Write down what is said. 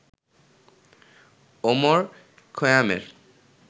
Omar খৈয়ামের